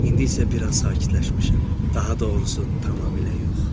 İndi isə biraz sakitləşmişəm, daha doğrusu tamamilə yox.